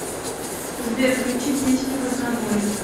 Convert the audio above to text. сбер включи песни в разнобой